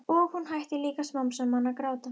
Og hún hættir líka smám saman að gráta.